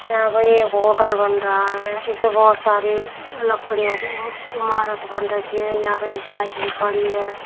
यहा पे एक होटल बन रहा है इसमें बहुत सारी लकड़ियों की ओ ईमारत बन रखी है यहा पर एक बाईक भी खड़ी है।